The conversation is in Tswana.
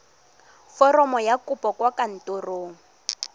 foromo ya kopo kwa kantorong